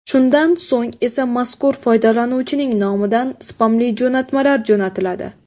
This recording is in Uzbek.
Shundan so‘ng esa mazkur foydalanuvchining nomidan spamli jo‘natmalar jo‘natiladi.